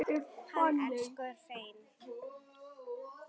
Hann elsku Hreinn.